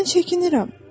"Mən çəkinirəm.